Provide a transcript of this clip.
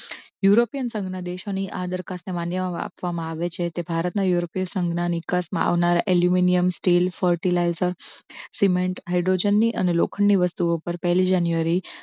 European સંઘના દેશો ની આ દરખાસ્ત માન્ય માપવા માં આવે છે. તે ભારતના યુરોપીય સંઘના નીકાસ મા આવનારા aluminium steel, fertilizers, cement, hydrogen ની અને લોખંડી વસ્તુઓ પર પહેલી જાન્યુઆરી January